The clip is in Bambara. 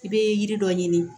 I bɛ yiri dɔ ɲini